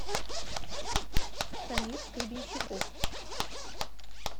самир гребенщиков